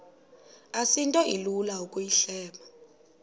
asinto ilula ukuyihleba